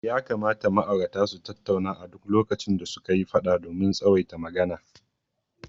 Ya kamata ma'aurata su tattauna a duk lokacin da suka yi fada domin tsawaita magana.